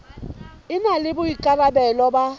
e na le boikarabelo ba